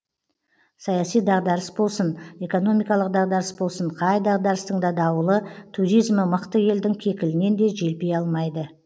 саяси дағдарыс болсын экономикалық дағдарыс болсын қай дағдарыстың та дауылы туризмі мықты елдің кекілінен де желпи алмайды